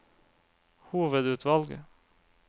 hovedutvalg